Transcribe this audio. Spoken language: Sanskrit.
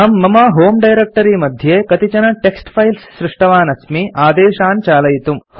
अहम् मम होमे डायरेक्ट्री मध्ये कतिचन टेक्स्ट् फाइल्स् सृष्टवान् अस्मि आदेशान् चालयितुम्